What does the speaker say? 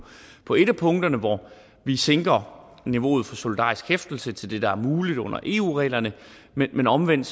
på et af punkterne hvor vi sænker niveauet for solidarisk hæftelse til det der er muligt under eu reglerne men omvendt